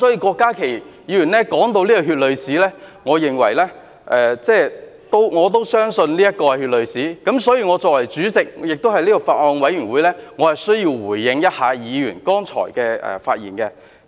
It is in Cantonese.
郭家麒議員提到這段血淚史，我也相信這是血淚史，所以，我作為有關法案委員會的主席，我需要回應議員剛才的發言。